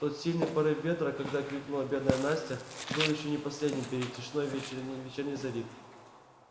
тот сильный порыв ветра когда крикнула бедная настя был ещё не последним перед тишиной вечерней зари